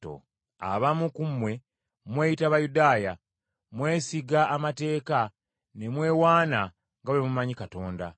Abamu ku mmwe mweyita Bayudaaya. Mwesiga amateeka ne mwewaana nga bwe mumanyi Katonda.